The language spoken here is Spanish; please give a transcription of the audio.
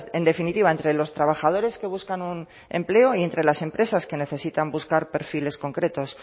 en definitiva entre los trabajadores que buscan un empleo y entre las empresas que necesitan buscar perfiles concretos